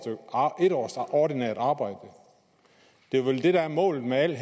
ordinært arbejde det er vel det der er målet med alt